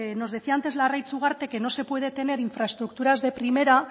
nos decía antes larraitz ugarte que no se puede tener infraestructuras de primera